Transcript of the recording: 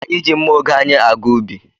Anyị ji mma oge anyị aga ubi.